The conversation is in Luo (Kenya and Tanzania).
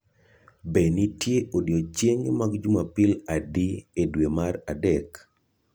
Be nitie odiechienge mag jumapil adi e dwe mar adek?